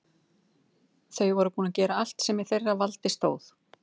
Þau voru búin að gera allt sem í þeirra valdi stóð.